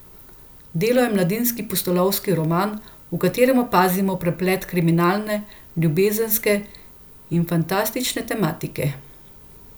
Delo je mladinski pustolovski roman, v katerem opazimo preplet kriminalne, ljubezenske in fantastične tematike.